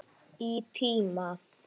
Í tíma.